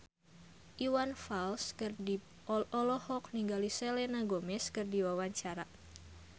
Iwan Fals olohok ningali Selena Gomez keur diwawancara